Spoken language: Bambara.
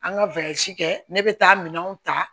An ka kɛ ne bɛ taa minɛnw ta